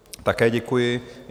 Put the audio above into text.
Také děkuji.